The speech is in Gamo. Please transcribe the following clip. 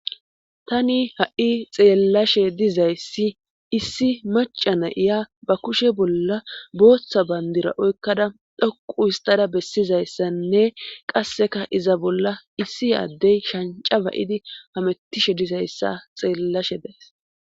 tani ha7i xeellashe dizayssi issi maca na7iya ba kushe bolla booththa bayndira oykkada dhoqu histada bessizayssanne qasseka iza bolla issi aaddey shanca ba7idi hamettishe dizayssa xeellashe dees